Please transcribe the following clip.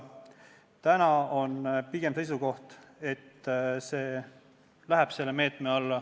Täna ollakse pigem seisukohal, et see läheb selle meetme alla.